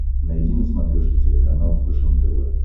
найди на смотрешке телеканал фэшен тв